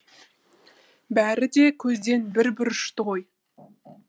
бәрі де көзден бір бір ұшты ғой